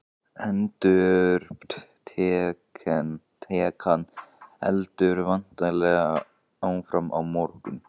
Endurupptakan heldur væntanlega áfram á morgun?